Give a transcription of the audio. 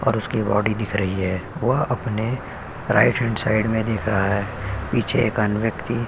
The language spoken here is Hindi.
और उसकी बॉडी दिख रही है। वह अपने राइट हैंड साइड में देख रहा है। पीछे एक अन्य व्यक्ति --